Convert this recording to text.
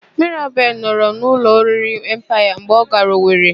Mirabel nọrọ n'ụlọ oriri Empaya mgbe ọ gara Owere.